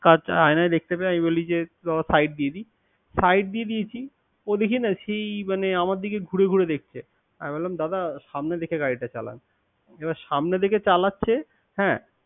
কাচ আয়নায় দেখতে পেয়ে আমি বলি যে side দিয়ে দি। Side দিয়ে দিয়েছি। ও দেখি না সেই আমার দিকে ঘুরে ঘুরে দেখছে। আমি বললাম দাদা সামনে দেখে গাড়ি টা চালান। এবার সামনে দেখে চালাচ্ছে।